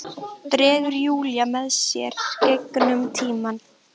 Dregur Júlíu með sér gegnum tímann.